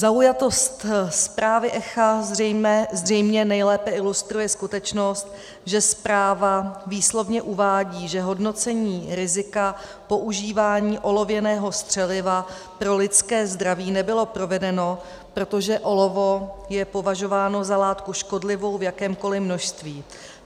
Zaujatost zprávy ECHA zřejmě nejlépe ilustruje skutečnost, že zpráva výslovně uvádí, že hodnocení rizika používání olověného střeliva pro lidské zdraví nebylo provedeno, protože olovo je považováno za látku škodlivou v jakémkoli množství.